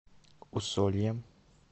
усольем